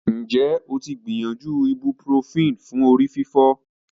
Have you ever tried ibuprofen for a headache?